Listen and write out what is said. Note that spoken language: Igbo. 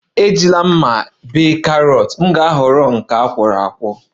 Ejila mma bee carrot, m ga-ahọrọ ya grated